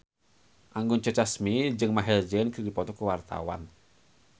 Anggun C. Sasmi jeung Maher Zein keur dipoto ku wartawan